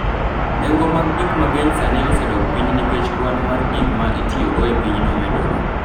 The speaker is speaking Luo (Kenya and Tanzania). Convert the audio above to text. Nengo mag gik mang’eny sani osedok piny nikech kwan mar gik ma itiyogo e pinyno medore.